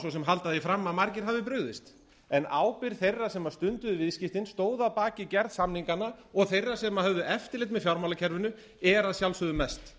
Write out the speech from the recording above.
halda því fram að margir hafi brugðist en ábyrgð þeirra sem stunduðu viðskiptin stóðu að baki gerð samninganna og þeirra sem höfðu eftirlit með fjármálakerfinu er að sjálfsögðu mest